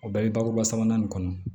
O bɛɛ bɛ bakuruba sabanan nin kɔnɔ